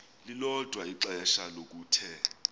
lilodwa ixesha lokuthe